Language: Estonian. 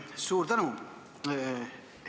Suur tänu!